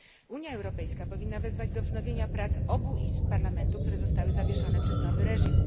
Unia Europejska powinna wezwać do wznowienia prac obu izb parlamentu, które zostały zawieszone przez nowy reżim.